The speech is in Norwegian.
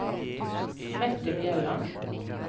Mette Bjelland